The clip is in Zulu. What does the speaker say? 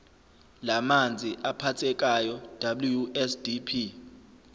lamanzi aphathekayo wsdp